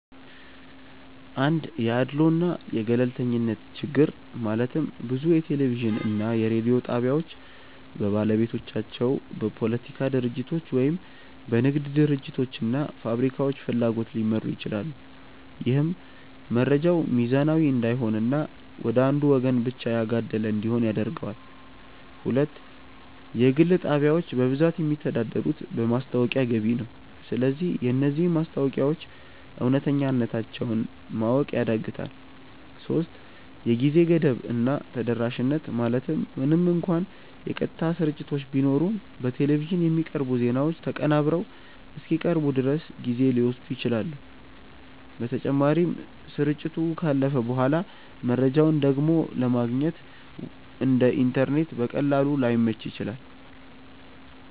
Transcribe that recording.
1 የአድልዎ እና የገለልተኝነት ችግር ማለትም ብዙ የቴሌቪዥን እና የሬዲዮ ጣቢያዎች በባለቤቶቻቸው፣ በፖለቲካ ድርጅቶች ወይም በንግድ ድርጅቶች እና ፋብሪካዎች ፍላጎት ሊመሩ ይችላሉ። ይህም መረጃው ሚዛናዊ እንዳይሆን እና ወደ አንዱ ወገን ብቻ ያጋደለ እንዲሆን ያደርገዋል። 2 የግል ጣቢያዎች በብዛት የሚተዳደሩት በማስታወቂያ ገቢ ነው። ስለዚህ የነዚህ ማስታወቂያዎች እውነተኛነታቸውን ማወቅ ያዳግታል 3የጊዜ ገደብ እና ተደራሽነት ማለትም ምንም እንኳን የቀጥታ ስርጭቶች ቢኖሩም፣ በቴሌቪዥን የሚቀርቡ ዜናዎች ተቀናብረው እስኪቀርቡ ድረስ ጊዜ ሊወስዱ ይችላሉ። በተጨማሪም፣ ስርጭቱ ካለፈ በኋላ መረጃውን ደግሞ ለማግኘት (እንደ ኢንተርኔት በቀላሉ) ላይመች ይችላል።